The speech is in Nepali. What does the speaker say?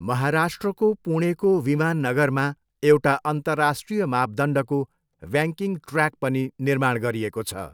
महाराष्ट्रको पुणेको विमान नगरमा एउटा अन्तर्राष्ट्रिय मापदण्डको बैङ्किङ ट्र्याक पनि निर्माण गरिएको छ।